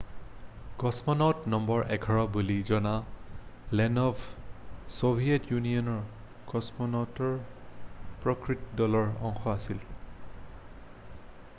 """কছমনাউট number 11" বুলি জনা Leonov' Soviet ইউনিয়নৰ কছমনাউটৰ প্ৰকৃত দলৰ অংশ আছিল৷""